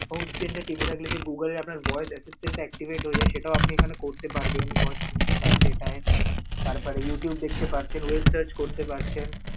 phone screen টা টিপে থাকলে যে Google এর আপনার voice assistant টা activate হয়ে যায়, সেটাও আপনে করতে পারবেন. work system টা আছে এটাই তারপরে Youtube দেখতে পারছেন, web search করতে পারছেন.